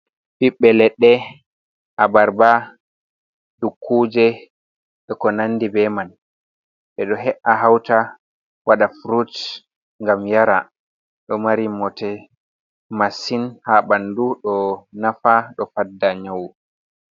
Ɓiɓbe leɗɗe, abarba, dukkuuje, be ko nandi be man. Ɓe ɗo he'a hauta, waɗa frut ngam yara. Ɗo mari bote masin haa ɓandu. Ɗo nafa, ɗo fadda nyau.